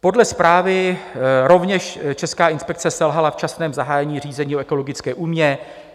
Podle zprávy rovněž Česká inspekce selhala ve včasném zahájení řízení o ekologické újmě.